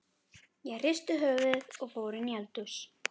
Ég hristi höfuðið og fór inn í eldhús.